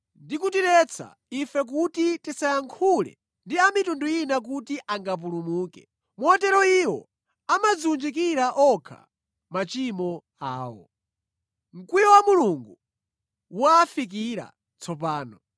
ndikutiretsa ife kuti tisayankhule ndi a mitundu ina kuti angapulumuke. Motero iwo amadziwunjikira okha machimo awo. Mkwiyo wa Mulungu wa afikira tsopano.